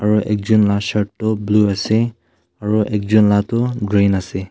aru ekun la shirt tu blue ase aru ekjun la tu green ase.